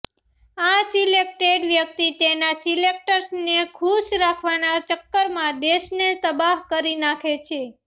આ સિલેક્ટેડ વ્યક્તિ તેના સિલેક્ટર્સને ખુશ રાખવાના ચક્કરમાં દેશને તબાહ કરી નાખે છે